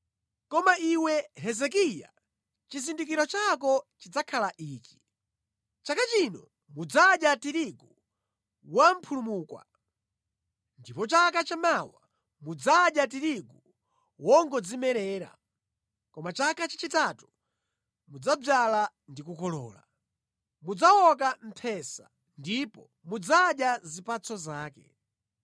“Koma iwe Hezekiya, chizindikiro chako chidzakhala ichi: “Chaka chino mudzadya tirigu wamphulumukwa, ndipo chaka chamawa mudzadya tirigu wongodzimerera. Koma chaka chachitatu mudzadzala ndi kukolola, mudzawoka mphesa ndipo mudzadya zipatso zake.